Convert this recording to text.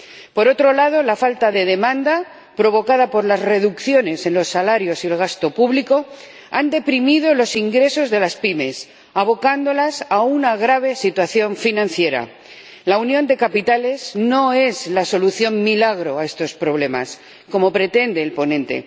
Por otro lado, la falta de demanda provocada por las reducciones en los salarios y el gasto público ha deprimido los ingresos de las pymes, abocándolas a una grave situación financiera. La Unión de los Mercados de Capitales no es la solución milagro a estos problemas, como pretende el ponente.